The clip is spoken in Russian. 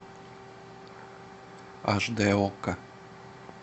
аш дэ окко